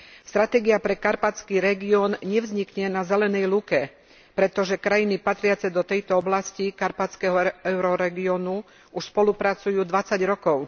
Stratégia pre karpatský región nevznikne na zelenej lúke, pretože krajiny patriace do tejto oblasti karpatského euroregiónu už spolupracujú 20 rokov.